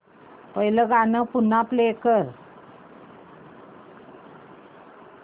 पहिलं गाणं पुन्हा प्ले कर